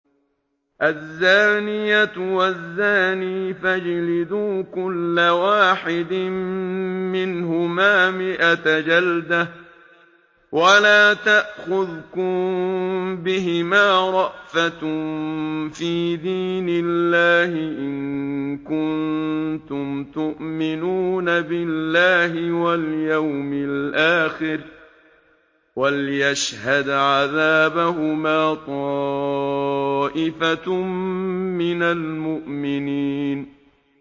الزَّانِيَةُ وَالزَّانِي فَاجْلِدُوا كُلَّ وَاحِدٍ مِّنْهُمَا مِائَةَ جَلْدَةٍ ۖ وَلَا تَأْخُذْكُم بِهِمَا رَأْفَةٌ فِي دِينِ اللَّهِ إِن كُنتُمْ تُؤْمِنُونَ بِاللَّهِ وَالْيَوْمِ الْآخِرِ ۖ وَلْيَشْهَدْ عَذَابَهُمَا طَائِفَةٌ مِّنَ الْمُؤْمِنِينَ